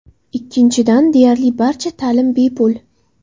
Ikkinchidan, deyarli barcha ta’lim bepul.